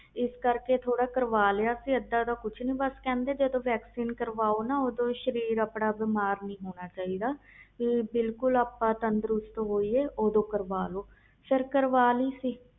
ਇਸ ਕਰਕੇ ਥੋੜ੍ਹਾ ਕਰ ਵਾਲਿਆਂ ਕਹਿੰਦੇ ਜਦੋ vaccine ਕਰਵਾਓ ਸਰੀਰ ਤੰਦਰੁਸਤ ਹੋਣਾ ਚਾਹੀਦਾ ਆ ਬਿਮਾਰ ਨਹੀਂ ਹੋਣਾ ਚਾਹੀਦਾ ਤਾ ਇਸ ਲਈ